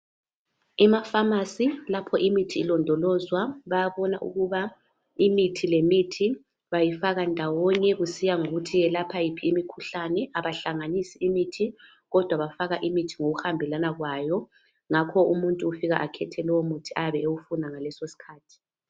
Emafamasi lapha imithi ilondolozwa bayabona ukuba imithi lemithi bayifaka ndawonye kusiya ngokuthi yelapha yiphi imikhuhlane abahlanganisi imithi kodwa bafaka imithi ngokuhambelana kwayo ngakho umuntu ufika akhethe umuthi oyabe ewufuna ngalesosikhathi.